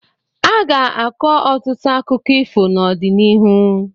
Aga-akọ ọtụtụ akụkọ ifo n'ọdịnihu.